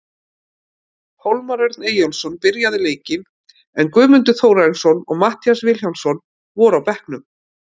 Hólmar Örn Eyjólfsson byrjaði leikinn, en Guðmundur Þórarinsson og Matthías Vilhjálmsson voru á bekknum.